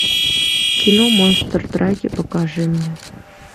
кино монстр драки покажи мне